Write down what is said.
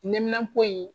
Neminanpo in